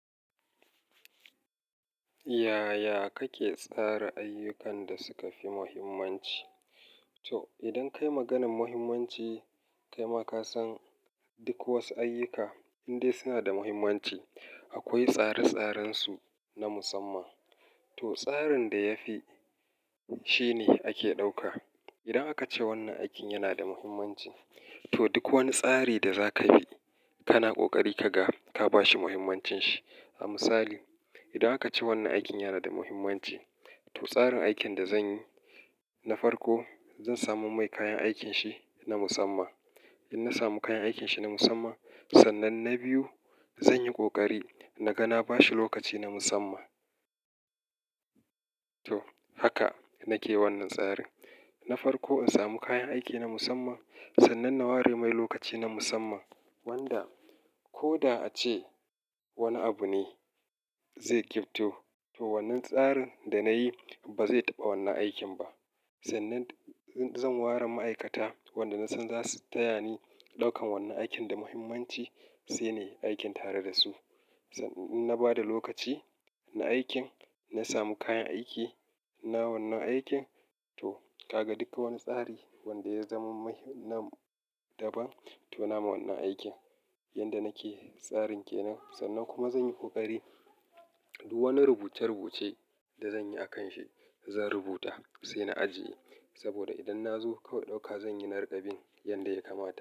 Yaya kake tsara ayyukan da suka fi muhimmanci? To, idan ka yi maganan muhimmanci, kai ma ka san duk wasu ayyuka indai suna da muhimmanci, akwai tsare-tsarensu na musamman. To, tsarin da ya fi, shi ne ake ɗauka. Idan aka ce wannan aikin yana da muhimmanci, to duk wani tsari da za ka bi, kana ƙoƙari ka ga ka ba shi muhimmancin shi. A misali, idan aka ce wannan aikin yana da muhimmanci, to tsarin aikin da zan yi, na farko zan samu mai kayan aikin shi na musamman. In na samu kayan aikin shi na musamman, sannan na biyu zan yi ƙoƙari na ga na ba shi lokaci na musamman. To, haka nake wannan tsari. Na farko in samu kayan aiki na musamman, sannan na ware mai lokaci na musamman wanda ko da a ce wani abu ne zai ƙibto, to wannan tsarin da na yi ba zai taɓa wannan aikin ba. Sannan zan ware ma'aikata wanda na san za su taya ni ɗaukan wannan aikin da muhimmanci, sai nayi aikin tare da su. Na ba da lokaci na aikin, na samu kayan aiki na wannan aikin, to ka ga duka wani tsari wanda ya zama mai-- na daban, to na yi wannan aikin. Yanda nake tsarin ke nan, sannan kuma zan yi ƙoƙari duk wani rubuce-rubuce da zan yi a kan shi, zan rubuta sai na ajiye. Saboda idan na zo kawai ɗauka zan yi nari kaɓin yanda ya kamata.